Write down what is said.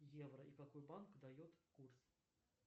евро и какой банк дает курс